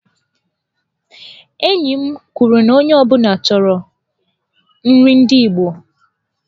Enyi m kwuru na onye ọ bụla chọrọ nri ndị igbo.